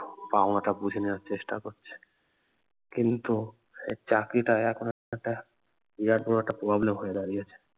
পাওনা টা বুঝে নেওয়ার চেষ্টা করছে কিন্ত এই চাকরিটা এখন একটা বিরাট বড় একটা problem হয়ে দাঁড়িয়েছে